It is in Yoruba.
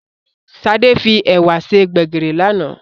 Sade fi èwà ṣe Gbégiri lánàá